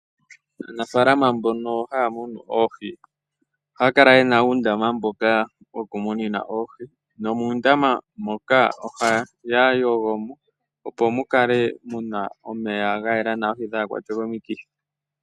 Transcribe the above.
Aanafalama mbono haya munu oohi oha ya kala ye na uundama mboka wokumunina oohi, nomuundama moka oha ya yogomo opo mu kale mu na omeya ga yela nawa oohi dhaakwatwe komikithi.